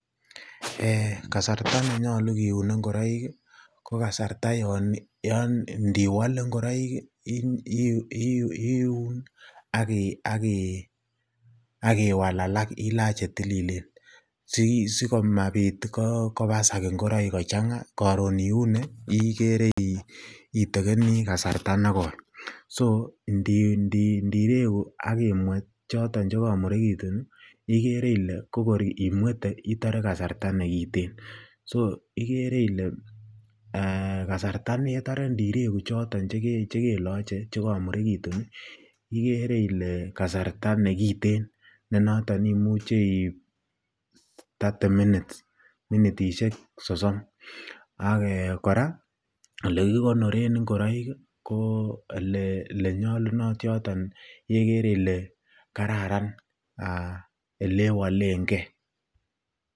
Kasarta nenyolu kiune ing'oroik ko kasata yoon indiwole ing'oroik iun ak iwal alak ilach chetililen sikomabit ing'oroik kochanga koron iune ikere itekeni kasarta nekoi, so ndireku ak imwet choton chekomurekitun ikere ilee ko kor imwete itore kasarta nekiten, so ikere ilee kasarta netore indireku choton chekeloche chekomurekitun ikere ilee kasarta nekiten nenoton imuche iib thirty minutes minitishek sosom, ak kora elekikonoren ing'oroik ko elee nyolunot yoton elekere ilee kararan elewolen kee.